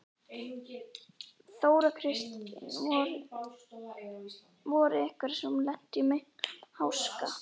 Þóra Kristín: Voru einhverjir sem að lentu í miklum háska?